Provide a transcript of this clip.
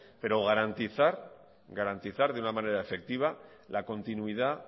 pero garantizar de una manera efectiva la continuidad